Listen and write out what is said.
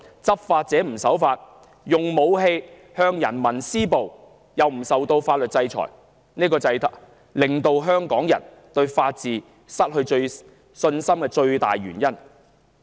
執法者不守法，用武器向人民施暴，卻不受法律制裁，這正是香港人對法治失去信心的最大原因。